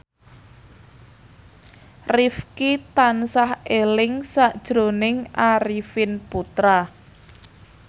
Rifqi tansah eling sakjroning Arifin Putra